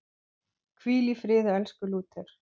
Hvíl í friði, elsku Lúther.